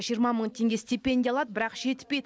жиырма мың теңге стипендия алады бірақ жетпейді